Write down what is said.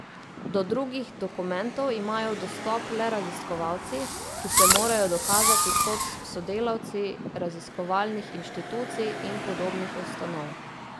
Do drugih dokumentov imajo dostop le raziskovalci, ki se morajo dokazati kot sodelavci raziskovalnih inštitucij in podobnih ustanov.